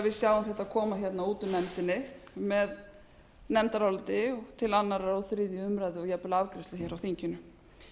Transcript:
sjáum þetta koma hérna út úr nefndinni með nefndaráliti til annars og þriðju umræðu og jafnvel afgreiðslu hér á þinginu